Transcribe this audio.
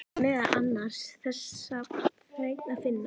Þar er meðal annars þessa fregn að finna